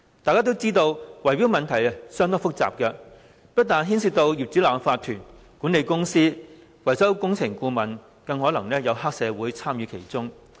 眾所周知，圍標問題相當複雜，不但牽涉業主立案法團、管理公司和維修工程顧問，黑社會更可能參與其中。